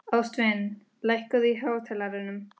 Ástvin, lækkaðu í hátalaranum.